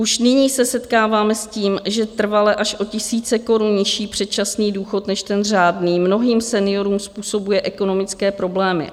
Už nyní se setkáváme s tím, že trvale až o tisíce korun nižší předčasný důchod než ten řádný mnohým seniorům způsobuje ekonomické problémy.